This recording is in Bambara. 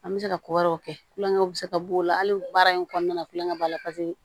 An bɛ se ka ko wɛrɛw kɛ kulonkɛw bɛ se ka b'o la hali baara in kɔnɔna na kulonkɛ b'a la paseke